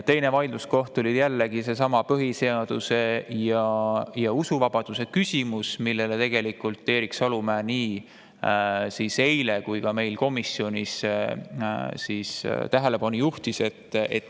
Teine vaidluskoht on jällegi seesama põhiseaduse ja usuvabaduse küsimus, millele Erik Salumäe nii eile kui ka meil komisjonis tähelepanu juhtis.